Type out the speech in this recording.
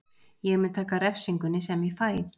Ég mun taka refsingunni sem ég fæ.